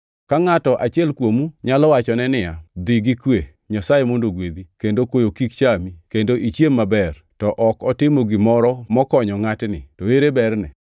Ka ngʼato achiel kuomu nyalo wachone niya, “Dhi gi kwe, Nyasaye mondo ogwedhi, kendo koyo kik chami, kendo ichiem maber,” to ok otimo gimoro mokonyo ngʼatni, to ere berne?